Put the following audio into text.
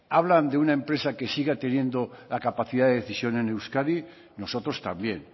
hablan de una empresa que siga teniendo la capacidad de decisión en euskadi nosotros también